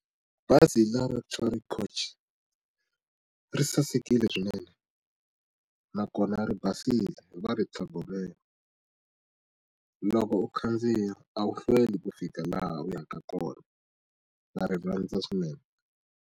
Bazi ra luxury coach ri sasekile swinene na kona ri basile va ri tlhogomela loko u khandziya a wu hlweli ku fika laha u ya ka kona na rirhandza swinene.